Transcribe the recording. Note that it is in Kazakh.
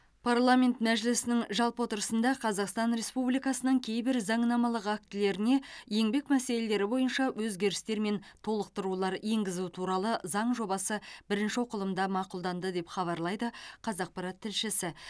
парламент мәжілісінің жалпы отырысында қазақстан республикасының кейбір заңнамалық актілеріне еңбек мәселелері бойынша өзгерістер мен толықтырулар енгізу туралы заң жобасы бірінші оқылымда мақұлданды деп хабарлайды қазақпарат тілшісі